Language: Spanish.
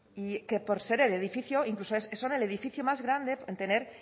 que por ser el edificio incluso son el edificio más grande en tener